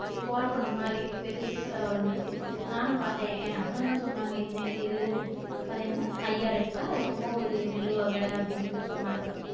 கோரப்புல்லு மாறி பெருசா வளர்ந்திருக்கு நானும் பார்த்தன் என் husband தான் சொன்னாங்க இது நெல்லு அது என்ன ஐயாறு எட்டா என்னமோ ஒரு நெல்லு வகை அப்படின்னு சொல்லி சொன்னாங்க